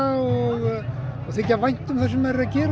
og að þykja vænt um það sem maður er að gera